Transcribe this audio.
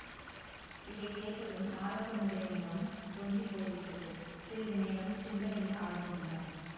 இதை கேட்டதும் மாரப்பனுடைய முகம் தொங்கிப் போய்விட்டது சிறிது நேரம் சிந்தனையில் ஆழ்ந்திருந்தான்